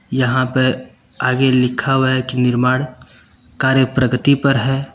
यहां पे आगे लिखा हुआ है कि निर्माण कार्य प्रगति पर है।